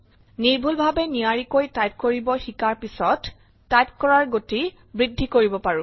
নিৰ্ভূলভাৱে নিয়াৰীকৈ টাইপ কৰিব শিকাৰ পিছত টাইপ কৰাৰ গতি বৃদ্ধি কৰিব পাৰো